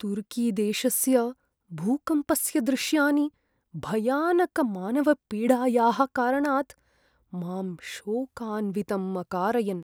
तुर्कीदेशस्य भूकम्पस्य दृश्यानि, भयानकमानवपीडायाः कारणात् मां शोकान्वितं अकारयन्।